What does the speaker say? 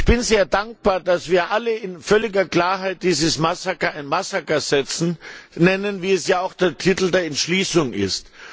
Ich bin sehr dankbar, dass wir alle in völliger Klarheit dieses Massaker ein Massaker nennen, wie es auch im Titel der Entschließung heißt.